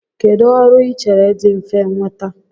Kedụ ọrụ I chere dị mfe nnweta?